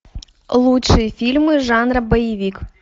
лучшие фильмы жанра боевик